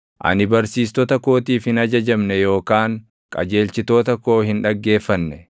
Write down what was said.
Ani barsiistota kootiif hin ajajamne yookaan qajeelchitoota koo hin dhaggeeffanne.